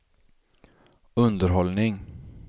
underhållning